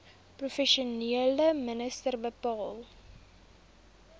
provinsiale minister bepaal